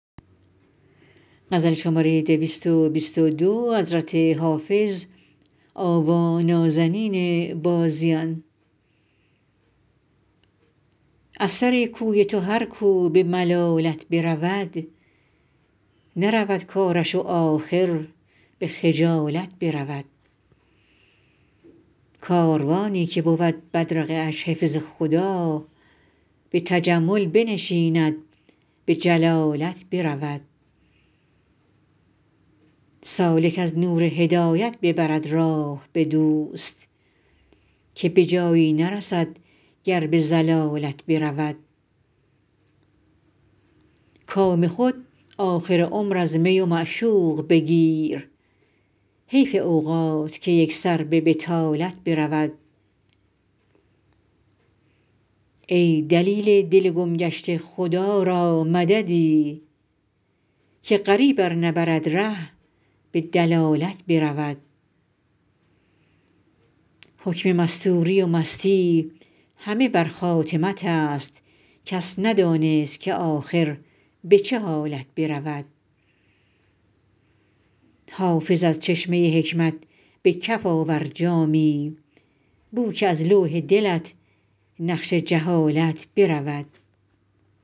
از سر کوی تو هر کو به ملالت برود نرود کارش و آخر به خجالت برود کاروانی که بود بدرقه اش حفظ خدا به تجمل بنشیند به جلالت برود سالک از نور هدایت ببرد راه به دوست که به جایی نرسد گر به ضلالت برود کام خود آخر عمر از می و معشوق بگیر حیف اوقات که یک سر به بطالت برود ای دلیل دل گم گشته خدا را مددی که غریب ار نبرد ره به دلالت برود حکم مستوری و مستی همه بر خاتمت است کس ندانست که آخر به چه حالت برود حافظ از چشمه حکمت به کف آور جامی بو که از لوح دلت نقش جهالت برود